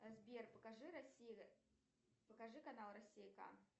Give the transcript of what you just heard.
сбер покажи россия покажи канал россия к